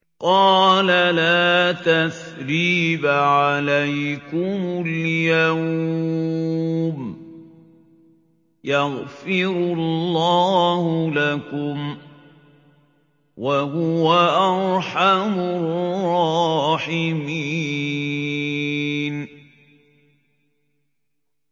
قَالَ لَا تَثْرِيبَ عَلَيْكُمُ الْيَوْمَ ۖ يَغْفِرُ اللَّهُ لَكُمْ ۖ وَهُوَ أَرْحَمُ الرَّاحِمِينَ